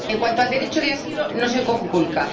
En cuanto al derecho de asilo, no se conculca.